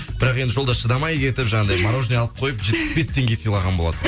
бірақ жолда шыдамай кетіп жаңағыдай мороженное алып қойып жетпіс бес теңге сыйлаған болатынмын